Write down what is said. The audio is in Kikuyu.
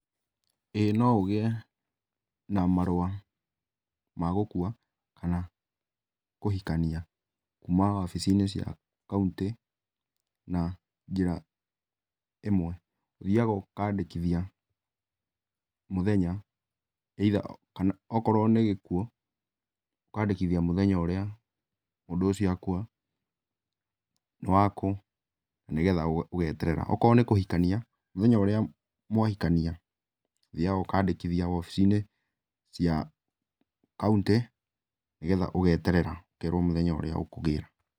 ĩ no ũgĩe na marũa ma gũkua kana kũhikania kuma wabicinĩ cia kauntĩ na njĩra ĩmwe ũthiaga ũkandĩkithia mũthenya akorwo nĩ gĩkuo ũkandĩkithia mũthenya ũria mũndũ ũcio akua nĩwakũ okorwo nĩ kũhikania mũthenya ũrĩa mwahikania ũthiaga ũkandĩkithia wabicinĩ cia kauntĩ nĩgetha ũgeterera ũkerwo mũthenya ũrĩa ũkũgĩra.